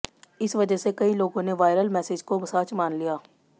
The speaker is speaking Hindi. इस वजह से कई लोगों ने वायरल मैसेज को सच मान लिया